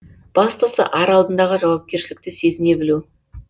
бастысы ар алдындағы жауапкершілікті сезіне білу